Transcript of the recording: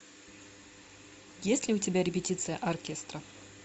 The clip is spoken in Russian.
есть ли у тебя репетиция оркестра